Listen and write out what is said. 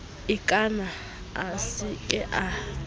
ikana a se ke a